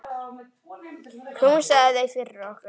Knúsaðu þau fyrir okkur.